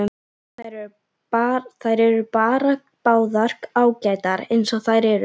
Þær eru bara báðar ágætar eins og þær eru.